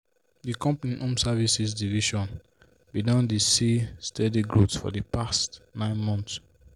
the company home services division been don dey see steady growth for the past 9 months.